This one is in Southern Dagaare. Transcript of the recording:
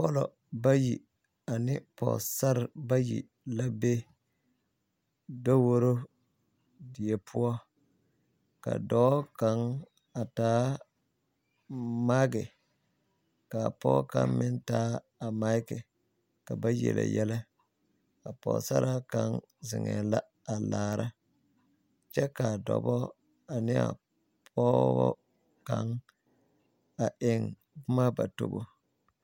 Pɔllɔ bayi ane Pɔgesarre bayi la be daworo die poɔ ka dɔɔ kaŋ a taa maaki ka pɔge kaŋ meŋ taa maaki ka ba yele yɛlɛ ka pɔgesaraa kaŋa zeŋɛɛ la a laara kyɛ ka a dɔbɔ ane a pɔgebɔ kaŋ a eŋ boma ba tobo.